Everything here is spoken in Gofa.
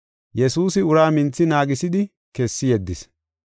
Yesuusi uraa minthi naagisidi kessi yeddis.